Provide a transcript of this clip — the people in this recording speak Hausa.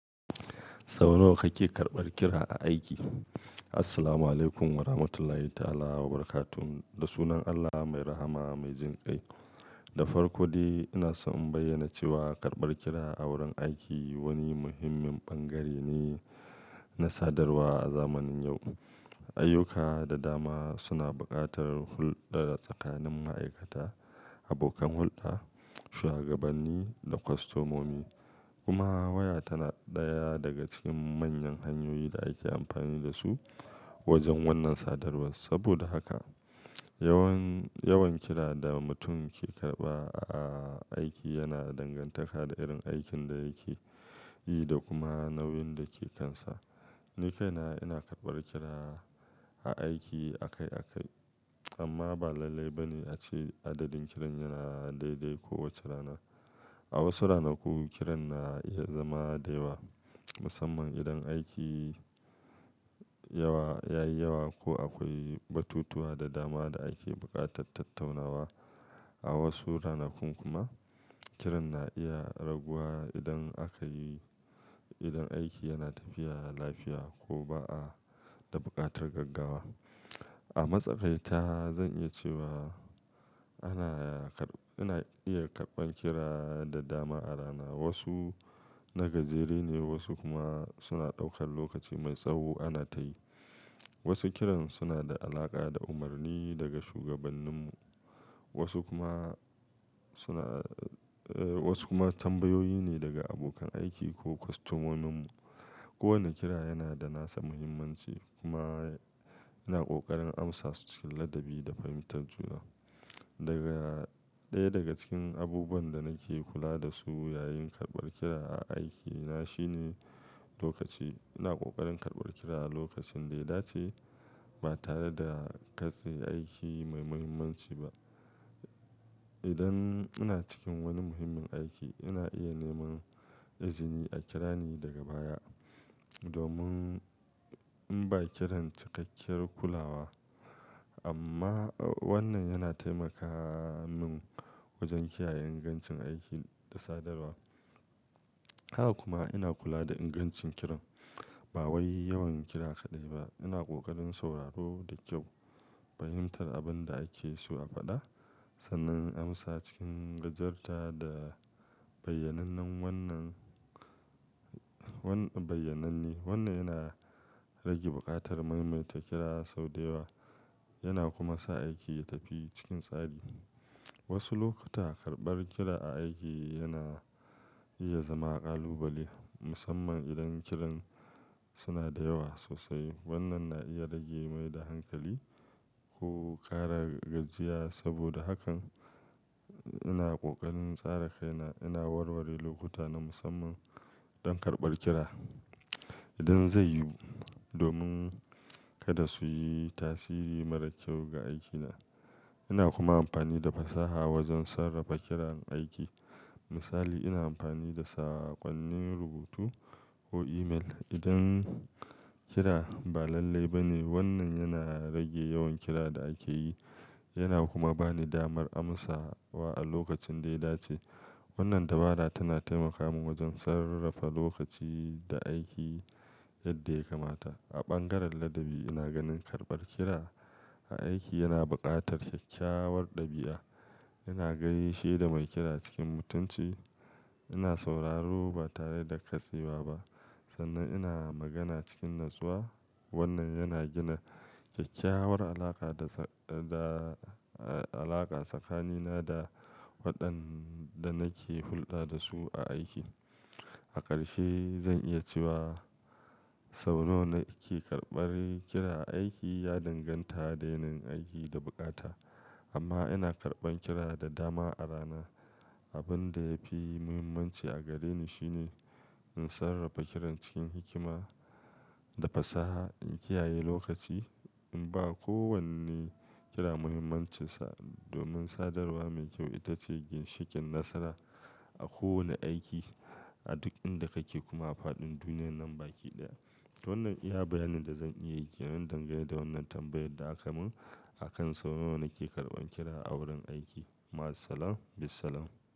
Sau nawa kake karɓar kira a aiki? Assalamualaikum Warahmatullahi Ta'ala Wabarakatuh. Da sunan Allah mai rahama mai jin ƙai. Da farko dai ina so in bayyana cewa karɓar kira a wurin aiki wani muhimmin bangare ne na sadarwa a zamanin yau. Ayyuka da dama suna buƙatar hulɗa tsakanin ma'aikata, abokan hulɗa, shuwagabanni da kwastomomi. Kuma waya tana ɗaya daga cikin manyan hanyoyi da ake amfani da su wajen wannan sadarwa. Saboda haka, yawan, yawan kira da mutum ke karɓa a aiki yana dangantaka da irin aikin da yake yi da kuma nauyin da ke kansa. Ni kaina ina karɓar kira a aiki akai-akai, amma ba lalle ba ne a ce adadin kiran yana daidai kowace rana. A wasu ranaku kiran na iya zama da yawa, musamman idan aiki yawa, ya yi yawa ko akwai batutuwa da dama da ake buƙatar tattaunawa. A wasu ranaku kuma kiran na iya raguwa idan aka yi, idan aiki yana tafiya lafiya ko ba a da buƙatar gaggawa. A matsakaita zan iya cewa ana karɓa, ina iya karɓan kira da dama a rana. Wasu na gajere ne wasu kuma suna ɗaukar lokaci mai tsawo ana tayi. Wasu kiran suna da alaƙa da umarni daga shugabanninmu, wasu kuma suna, eh, wasu kuma tambayoyi ne daga abokan aiki ko kwastomominmu. Kowane kira yana da nasa muhimmanci kuma ina ƙoƙarin amsa su cikin ladabi da fahimtar juna. Daga, ɗaya daga cikin abubuwan da nake kula da su yayin karɓar kira a aikina shine lokaci. Ina ƙoƙarin karɓar kira a lokacin da ya dace ba tare da katse aiki mai muhimmanci ba. Idan ina cikin wani muhimmin aiki ina iya neman izini a kira ni daga baya domin in ba kiran cikakken kulawa. Amma wannan yana taimaka mun wajen kiyaye ingancin aiki da sadarwa. Haka kuma ina kula da ingancin kiran. Ba wai yawan kira kaɗai ba, ina ƙoƙarin sauraro da kyau, fahimtar abin da ake so a faɗa sannan amsa cikin gajarta da bayyanannen wannan, wannan bayyananne. Wannan yana rage buƙatar maimaita kira sau da yawa yana kuma sa aiki ya tafi cikin tsari. Wasu lokuta karɓar kira a aiki yana iya zama ƙalubale musamman idan kiran suna da yawa sosai. Wannan na iya rage mai da hankali ko ƙara gajiya. Saboda hakan ina ƙoƙarin tsara kaina, ina warware lokuta na musamman don karɓar kira idan zai yiwu domin kada su yi tasiri mara kyau ga aikina. Ina kuma amfani da fasaha wajen sarrafa kiran aiki. Misali ina amfani da saƙonnin rubutu ko email idan kira ba lalle ba ne. Wannan yana rage yawan kira da ake yi yana kuma ba ni damar amsa wa a lokacin da ya dace. Wannan dabara tana taimaka mun wajen sarrafa lokaci da aiki yadda ya kamata. A bangaren ladabi ina ganin karɓar kira a aiki yana buƙatar kyakkyawar ɗabi'a. Ina gaishe da mai kira cikin mutunci, ina sauraro ba tare da katsewa ba sannan ina magana cikin natsuwa. Wannan yana gina kyakkyawar alaƙa da, da alaƙa tsakanina da waɗanda nake hulɗa da su a aiki. A ƙarshe zan iya cewa sau nawa nake karɓar kira a aiki ya danganta da yanayin aiki da bukata. Amma ina karɓan kira da dama a rana. Abin da yafi muhimmanci a gareni shine in sarrafa kiran cikin hikima da fasaha, in kiyaye lokaci, in ba kowane kira muhimmancinsa domin sadarwa mai kyau ita ce ginshiƙin nasara a kowane aiki, a duk inda kake kuma a faɗin duniyar nan baki ɗaya. Wannan iya bayanin da zan iya yi na dangane da wannan tambayar da aka mun akan sau nawa nake karɓan kira a wurin aiki. Ma'assalama, bissalam.